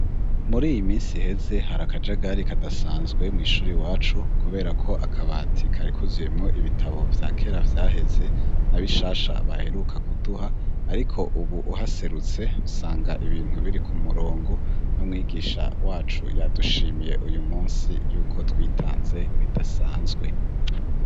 Muri iyi minsi iheze hari akajagari kadasanzwe mwishuri iwacu kuberako akabati kari kuzuyemwo ibitabo vyakera vyaheze na bishasha baheruka kuduha, ariko ubu uhaserutse usanga ibintu biri ku murongo n'umwigisha wacu yadushimiye uyu munsi yuko twitanze bidasanzwe.